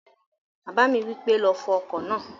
Bàbá mi wípé, "lọ fọ ọkọ̀ náà!"